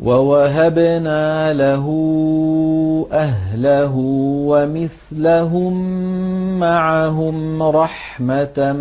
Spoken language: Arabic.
وَوَهَبْنَا لَهُ أَهْلَهُ وَمِثْلَهُم مَّعَهُمْ رَحْمَةً